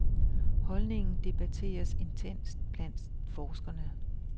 Holdningen debateres intenst blandt forskerne.